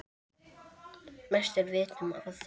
Mest er vitað um Aþenu.